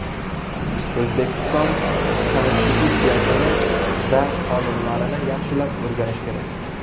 O‘zbekiston Konstitutsiyasini va qonunlarini yaxshilab o‘rganish kerak.